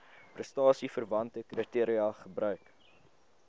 prestasieverwante kriteria gebruik